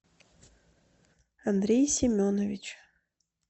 андрей семенович